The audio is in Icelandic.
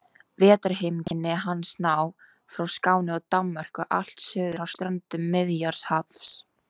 Vetrarheimkynni hans ná frá Skáni og Danmörku allt suður að ströndum Miðjarðarhafs.